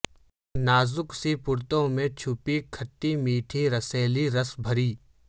نازک سی پرتوں میں چھپی کھٹی میٹھی رسیلی رس بھری